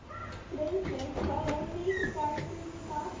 Friðbjörg, hvaða vikudagur er í dag?